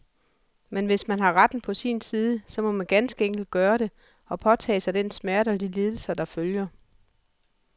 Men hvis man har retten på sin side, så må man ganske enkelt gøre det, og påtage sig den smerte og de lidelser, der følger.